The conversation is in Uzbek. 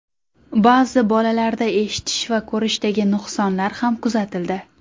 Ba’zi bolalarda eshitish va ko‘rishdagi nuqsonlar ham kuzatildi.